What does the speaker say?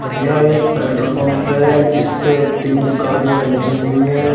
यह एक petrol pump है जिस पे तीन गाड़ियां लगी हुई है।